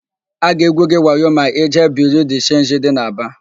A ga-egwu gị wayo ma ịjee Biriu de Chenji dị n'Aba.